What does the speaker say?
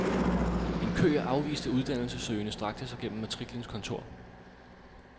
En kø af afviste uddannelsessøgende strakte sig gennem matriklens kontor.